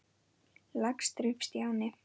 Lax þrífst í anni.